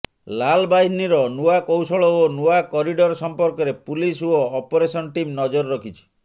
ଲାଲବାହିନୀର ନୂଆ କୌଶଳ ଓ ନୂଆ କରିଡର ସମ୍ପର୍କରେ ପୁଲିସ୍ ଓ ଅପରେସନ୍ ଟିମ୍ ନଜର ରଖିଛି